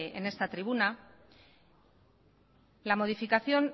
en esta tribuna la modificación